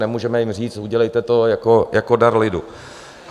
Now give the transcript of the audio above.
Nemůžeme jim říct: Udělejte to jako dar lidu.